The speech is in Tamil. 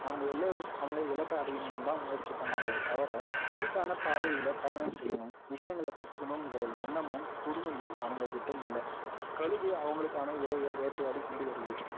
அவங்க எல்லோரும் அவங்க இலக்கை அடையணும்னு தான் முயற்சி பண்ணாங்களே தவிர அதுக்கான பாதையில பயணம் செய்யணும் விசயங்களை கத்துக்கணும்கிற எண்ணமும் பொறுமையும் அவங்ககிட்ட இல்லை கழுகு அவங்களுக்கான இரையை வேட்டையாடி கொண்டுவருது